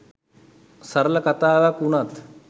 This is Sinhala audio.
සරල කතාවක් වුණත්